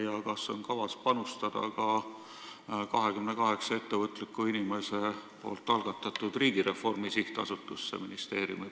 Kas ministeeriumil on kavas panustada ka 28 ettevõtliku inimese algatatud Riigireformi Sihtasutusse?